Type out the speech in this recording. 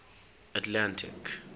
atlantic